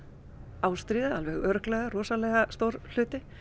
ástríða er alveg örugglega rosalega stór hluti